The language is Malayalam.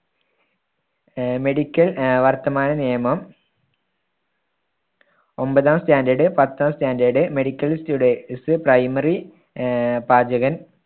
ആഹ് medical ആഹ് വർത്തമാന നിയമം ഒൻപതാം standard പത്താം standard, medical students primary ah പാചകൻ.